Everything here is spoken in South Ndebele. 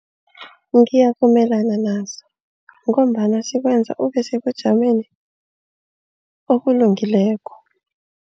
Ngiyavumelana nazo ngombana sikwenza ube sebujameni obulungileko.